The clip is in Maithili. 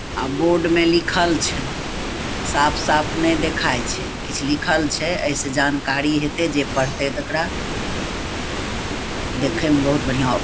आब बोर्ड में लिखल छै साफ-साफ ने देखाय छै किछ लिखल छे ए से जानकारी हेते जे पढ़ते तकरा देखे मे बहुत बढ़िया --